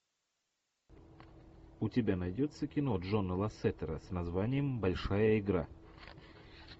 у тебя найдется кино джона лассетера с названием большая игра